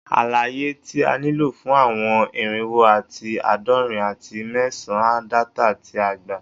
Alaye ti a nilo fun awọn irinwo ati aadọrin ati mẹsan data ti a gba